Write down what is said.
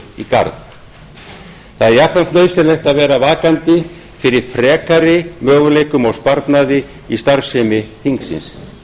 í garð það er jafnframt nauðsynlegt að vera vakandi fyrir frekari möguleikum á sparnaði í starfsemi þingsins